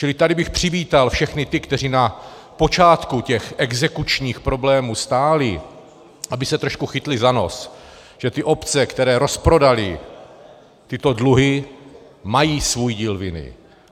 Čili tady bych přivítal všechny ty, kteří na počátku těch exekučních problémů stáli, aby se trošku chytli za nos, že ty obce, které rozprodaly tyto dluhy, mají svůj díl viny.